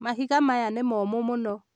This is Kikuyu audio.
Mahiga maya nĩ momũ mũno